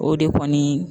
O de kɔni